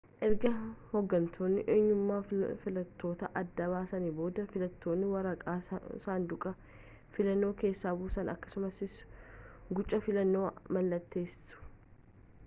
erga hoggantoonni eenyummaa filattootaa adda baasaniin booda filattoonni waraqaa saanduqa filannoo keessa buusu akkasumas guca filannoo mallatteessu